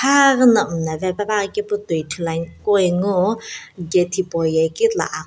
kha ghina mlla pe puanghi kepu toi ani kughengu gate hipauye kitila aq --